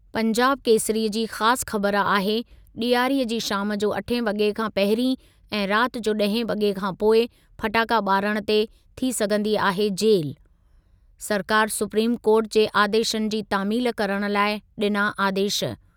पंजाब केसरी जी ख़ासि ख़बर आहे, ॾियारीअ जी शाम जो अठें वॻे खां पहिरीं ऐं राति जो ॾहें वॻे खां पोइ फटाखा ॿारण ते थी सघंदी आहे जेलु, सरकारि सुप्रीम कोर्ट जे आदेशनि जी तामील करण लाइ ॾिना आदेश।